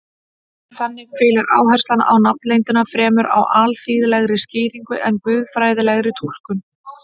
Þannig hvílir áherslan á nafnleyndina fremur á alþýðlegri skýringu en guðfræðilegri túlkun.